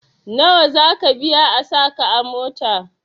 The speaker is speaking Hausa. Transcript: Nawa zaka biya a sa ka a mota?